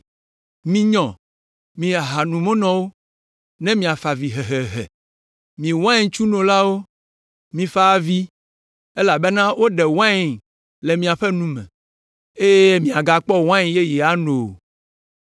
Minyɔ, mi ahanomunɔwo, ne miafa avi hehehe, mi waintsunolawo, mifa avi, elabena woɖe wain le miaƒe nu me, eye miagakpɔ wain yeye ano o!